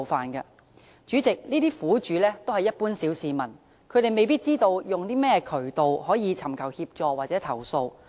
代理主席，這些苦主都是一般小市民，他們未必知道有甚麼渠道尋求協助或投訴。